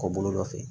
Kɔ bolo dɔ fɛ